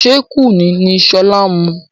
Ṣé Kùnú ni sọlá ń mu?